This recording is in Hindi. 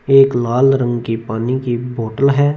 एक लाल रंग की पानी की बोतल है।